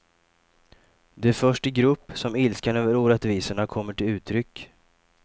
Det är först i grupp som ilskan över orättvisorna kommer till uttryck.